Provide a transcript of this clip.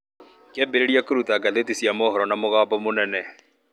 Ngĩambĩrĩria kũruta ngathĩti cia mohoro na mũgambo mũnene.